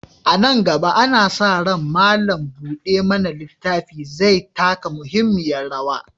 A nan gaba, ana sa ran malam buɗe mana littafi zai taka muhimmiyar rawa.